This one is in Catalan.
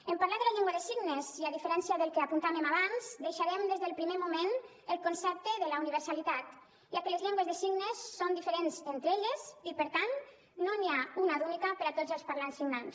en parlar de la llengua de signes i a diferència del que apuntàvem abans deixarem des del primer moment el concepte de la universalitat ja que les llengües de signes són diferents entre elles i per tant no n’hi ha una d’única per a tots els parlants signants